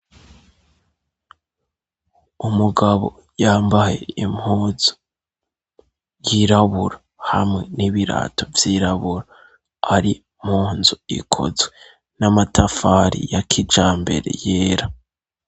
Umugabo yambaye impunzu yirabura, hamwe n'ibirato vyirabura, ari munzu ikozwe n'amatafari ya kijambere yera.